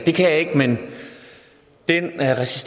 kan jeg ikke men den